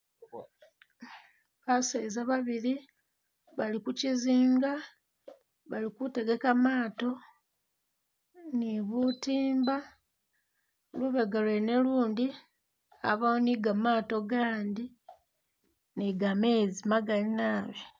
Baseza babili bali ku chizinga, bali ku tegeka maato ni bu timba, lubega lwene lundi, wabaawo ni gamato gandi ni gameezi magali naabi